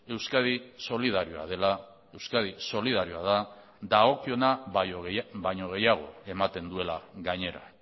euskadi solidarioa dela euskadi solidarioa da dagokiona baino gehiago ematen duela gainera